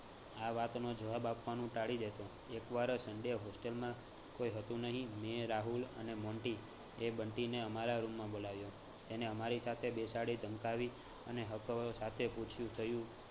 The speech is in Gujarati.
આ વાતનો જવાબ આપનું ટાળી દેતો. એક વાર sunday હોસ્ટેલમાં કોઈ હતું નહીં. મેં, રાહુલ અને મોન્ટી એ બંટીને અમારા room માં બોલાવ્યો એને અમારી સાથે બેસાડી, ધમકાવી અને હક સાથે પૂછ્યું થયું